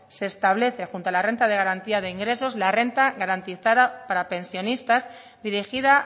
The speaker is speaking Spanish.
se establece junto a la renta de garantía de ingresos la renta garantizada para pensionistas dirigida